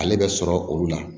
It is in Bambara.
Ale bɛ sɔrɔ olu la